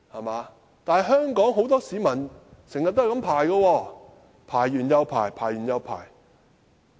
不過，香港很多市民經常要這樣排隊輪候，排完又排。